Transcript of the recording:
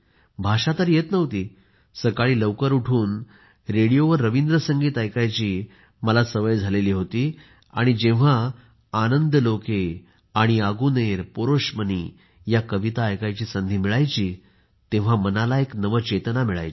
भाषा तर येत नव्हती सकाळी लवकर उठून रेडिओवर रवींद्र संगीत ऐकायची मला सवय झाली होती आणि जेव्हा आनंदलोके आणि आगुनेर पोरोशमनी या कविता ऐकायची संधी मिळायची तेव्हा मनाला एक नवचेतना मिळायची